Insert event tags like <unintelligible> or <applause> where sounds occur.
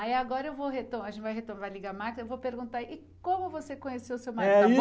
Aí agora eu vou retomar, a gente vai retomar, vai ligar a máquina, eu vou perguntar, e como você conheceu o seu marido? <unintelligible>